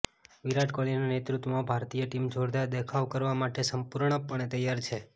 વિરાટ કોહલીના નેતૃત્વમાં ભારતીય ટીમ જોરદાર દેખાવ કરવા માટે સંપૂર્ણ પણે તૈયાર છે